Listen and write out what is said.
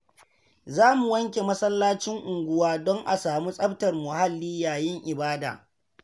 Za mu wanke masallacin unguwa don a samu tsaftar muhalli yayin ibada.